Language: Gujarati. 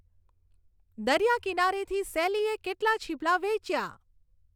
દરિયા કિનારેથી સેલીએ કેટલાં છીપલાં વેચ્યાં